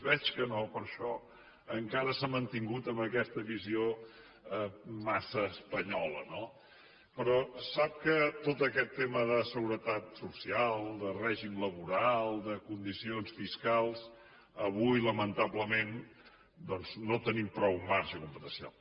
veig que no per això encara s’ha mantingut en aquesta visió massa espanyola no però sap que tot aquest tema de seguretat social de règim laboral de condicions fiscals avui lamentablement no hi tenim prou marge competencial